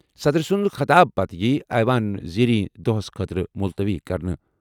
صدر سٕنٛدِ خطاب پتہٕ یِیہِ ایوان زیریں دۄہس خٲطرٕ مُلتوی کرنہٕ۔